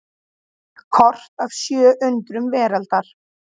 Kort af sjö undrum veraldar.